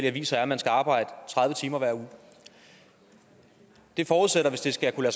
aviser er at man skal arbejde tredive timer hver uge det forudsætter hvis det skal kunne